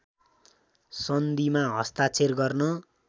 सन्धिमा हस्ताक्षर गर्न